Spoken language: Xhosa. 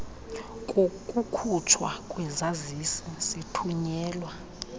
kokukhutshwa kwesazisi sithunyelwa